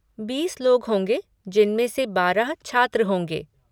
बीस लोग होंगे जिनमें से बारह छात्र होंगे।